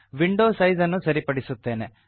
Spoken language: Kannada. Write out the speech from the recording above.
ವಿಂಡೋ ಸೈಜ್ ಅನ್ನು ಸರಿಪಡಿಸುತ್ತೇನೆ